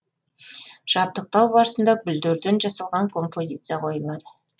жабдықтау барысында гүлдерден жасалған композиция қойылады